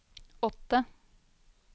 åtte